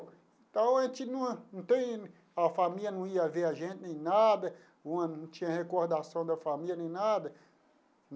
Então a gente não não tem, a família não ia ver a gente nem nada, não tinha recordação da família nem nada.